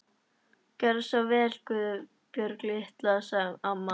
Gjörðu svo vel Guðbjörg litla, sagði amma.